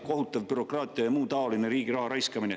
Kohutav bürokraatia ja muu taoline riigi raha raiskamine.